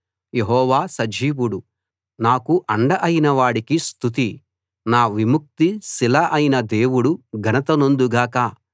యెహోవా సజీవుడు నాకు అండ అయిన వాడికి స్తుతి నా విముక్తి శిల అయిన దేవుడు ఘనత నొందుగాక